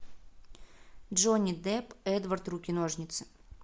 джонни депп эдвард руки ножницы